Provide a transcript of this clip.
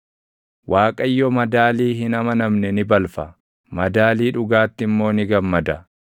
Waaqayyo madaalii hin amanamne ni balfa; madaalii dhugaatti immoo ni gammada.